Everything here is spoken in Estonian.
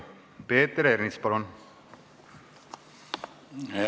Peeter Ernits, palun!